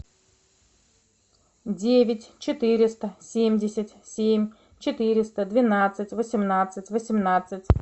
девять четыреста семьдесят семь четыреста двенадцать восемнадцать восемнадцать